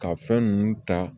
Ka fɛn ninnu ta